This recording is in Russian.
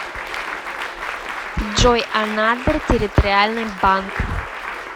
джой анадырь территориальный банк